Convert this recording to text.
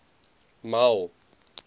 m a w